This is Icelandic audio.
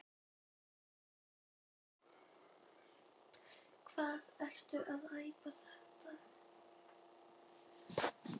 Hvað ertu að æpa þetta.